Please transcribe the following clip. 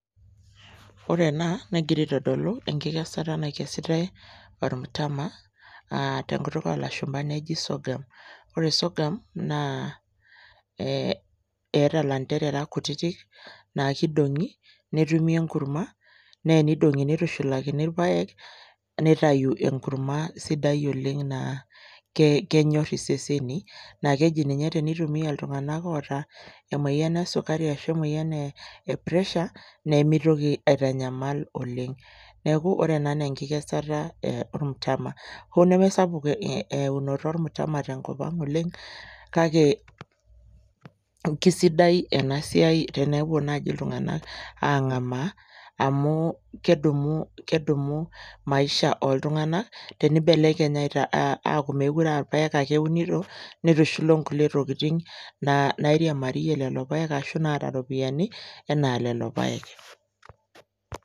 Ore ena negira aitodulu enkikesata nakesitai ormtama aa te nkutuk oo lashumba neji sorghum. Ore sorghum naa ee eeta lanterera kutitik naake idong'i netumi enkurma, naa enidong'i nitushulakini irpaek nitayu enkurma sidai oleng' naa ke keyor iseseni naake eji ninye tenitumia iltung'anak ooata emoyian e sukari ashu emoyian e pressure, nemitoki aitanyamal oleng'. Neeku ore ena naa enkikesata ormtama. Hoo nemee sapuk eunoto ormtama tenkop ang' oleng' kake kesidai ena siai tenepuo naaji iltung'anak ang'amaa amu kedumu kedumu maisha oltung'anak tenibelekeny aita aaku mekure a irpaek ake eunito nitushul o nkulie tokitin naa nairiamarie lelo paek ashu naata ropiani enaa lelo paek.